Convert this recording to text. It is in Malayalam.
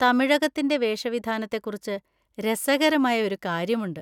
തമിഴകത്തിന്‍റെ വേഷവിധാനത്തെക്കുറിച്ച് രസകരമായ ഒരു കാര്യമുണ്ട്.